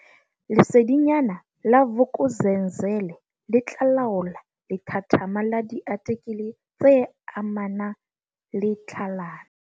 Lesedinyana la Vuk'uzenzele le tla laola lethathama la diatikele tse amana le tlhalano.